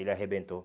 Ele arrebentou.